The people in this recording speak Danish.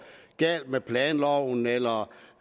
galt med planloven eller